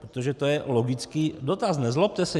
Protože to je logický dotaz, nezlobte se.